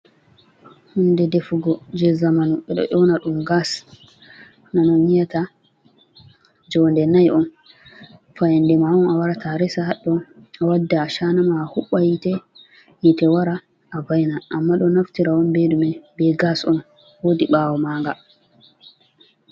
hunde defugo jey zamanu, ɓe ɗo ƴowna ɗum gas, ɗum on yi´ata joonde nayi 4 on, fayannde ma on a warata a resa haɗɗon a wadda acaana ma a huɓɓa yiite, hiite wara a va`ina, amma ɗo naftira on be ɗume? be gas on, woodi ɓaawo maaga.